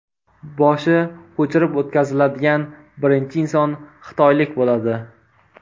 Boshi ko‘chirib o‘tkaziladigan birinchi inson xitoylik bo‘ladi.